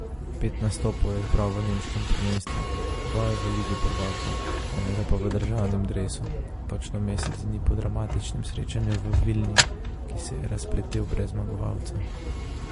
Pet nastopov je zbral v nemškem prvenstvu, dva v ligi prvakov, enega pa v državnem dresu, točno mesec dni po dramatičnem srečanju v Vilni, ki se je razpletel brez zmagovalca.